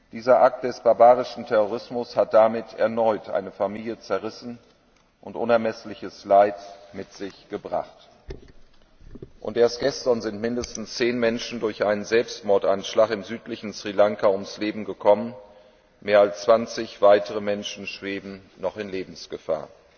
Dieser Akt des barbarischen Terrorismus hat erneut eine Familie zerrissen und unermessliches Leid mit sich gebracht. Und erst gestern sind mindestens zehn Menschen durch einen Selbstmordanschlag im südlichen Sri Lanka ums Leben gekommen, mehr als zwanzig Menschen schweben noch in Lebensgefahr.